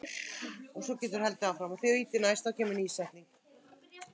Þín systir, Auður.